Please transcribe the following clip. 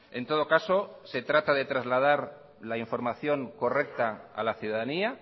en todo caso se trata de trasladar la información correcta a la ciudadanía